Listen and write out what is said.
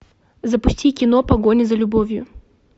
запусти кино погоня за любовью